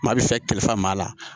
Maa bɛ fɛ kalifa maa la